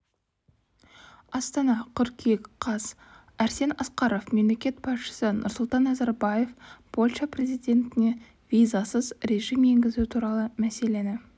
астана қыркүйек қаз арсен асқаров мемлекет басшысы нұрсұлтан назарбаев польша президентіне визасыз режим енгізу туралы мәселені